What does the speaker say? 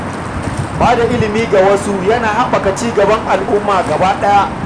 Ba da ilimi ga wasu yana haɓaka ci gaban al'umma baki ɗaya.